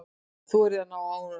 Þorið að ná árangri.